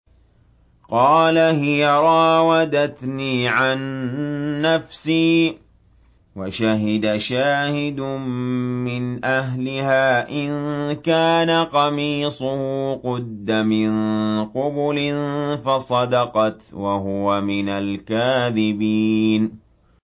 قَالَ هِيَ رَاوَدَتْنِي عَن نَّفْسِي ۚ وَشَهِدَ شَاهِدٌ مِّنْ أَهْلِهَا إِن كَانَ قَمِيصُهُ قُدَّ مِن قُبُلٍ فَصَدَقَتْ وَهُوَ مِنَ الْكَاذِبِينَ